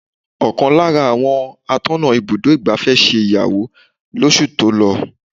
Ọ̀kan lára àwọn atọ́nà ibùdó igbàfẹ́ ṣe ìyàwó lọ oṣù tó lọ.